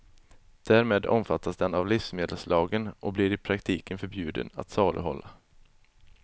Därmed omfattas den av livsmedelslagen och blir i praktiken förbjuden att saluhålla.